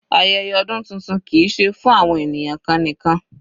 Ayẹyẹ ọdún tuntun kìí ṣe fún àwọn ènìyàn kan nìkan.